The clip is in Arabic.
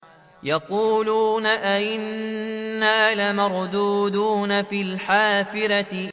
يَقُولُونَ أَإِنَّا لَمَرْدُودُونَ فِي الْحَافِرَةِ